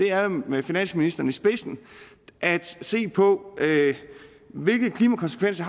er med finansministeren i spidsen at se på hvilke klimakonsekvenser